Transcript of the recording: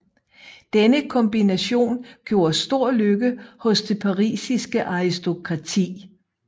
Denne kombination gjorde stor lykke hos det parisiske aristokrati